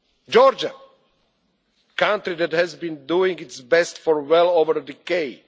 interference. Georgia, a country that has been doing its best for